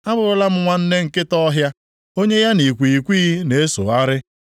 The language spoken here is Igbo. Abụrụla m nwanne nkịta ọhịa; onye ya na ikwighịkwighị na-esogharị.